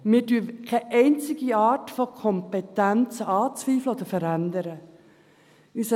Wir zweifeln keine einzige Art von Kompetenz an oder verändern sie.